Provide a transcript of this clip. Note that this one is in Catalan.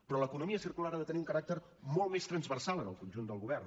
però l’economia circular ha de tenir un caràcter molt més transversal en el conjunt del govern